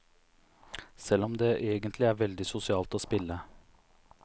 Selv om det egentlig er veldig sosialt å spille.